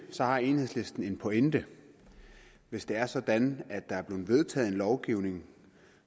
har enhedslisten en pointe hvis det er sådan at der er blevet vedtaget en lovgivning